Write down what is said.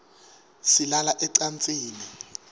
silala ecansini